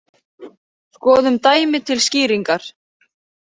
Skoðum dæmi til skýringar.